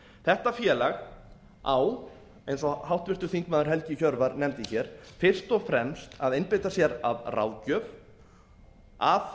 þetta félag á eins og háttvirtur þingmaður helgi hjörvar nefndi hér fyrst og fremst að einbeita sér að ráðgjöf að